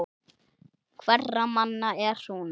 Hverra manna er hún?